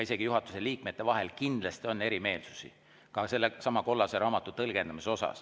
Isegi juhatuse liikmetel vahel on kindlasti erimeelsusi, ka sellesama kollase raamatu tõlgendamises.